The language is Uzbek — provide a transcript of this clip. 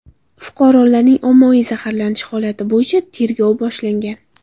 Fuqarolarning ommaviy zaharlanishi holati bo‘yicha tergov boshlangan.